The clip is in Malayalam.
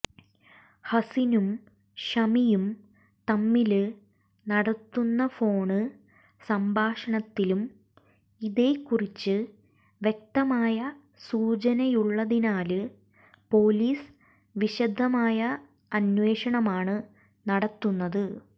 ഹസിനും ഷമിയും തമ്മില് നടത്തുന്ന ഫോണ് സംഭാഷണത്തിലും ഇതേക്കുറിച്ച് വ്യക്തമായ സൂചനയുള്ളതിനാല് പോലീസ് വിശദമായ അന്വേഷണമാണ് നടത്തുന്നത്